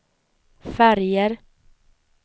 färger